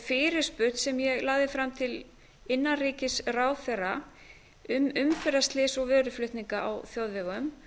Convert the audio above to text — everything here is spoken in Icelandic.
fyrirspurn sem ég lagði fram til innanríkisráðherra um umferðarslys og vöruflutninga á þjóðvegum